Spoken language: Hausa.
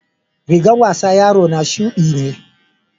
rigans wasan yaro na shuɗi ne.